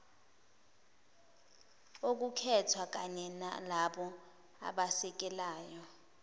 okukhethwa kanyenalabo abasekelayo